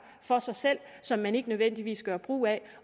for sig selv som man ikke nødvendigvis gør brug af